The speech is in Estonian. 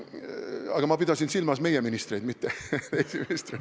Aga ma pidasin silmas meie ministreid, mitte teisi ministreid.